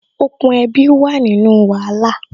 Okùn ẹbi wà nínú wàhálà